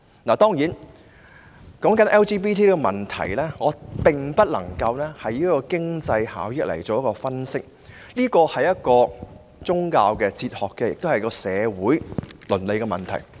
談到 LGBT 的問題，我無法基於經濟效益作分析，因為這是一個涉及宗教、哲學和社會倫理的問題。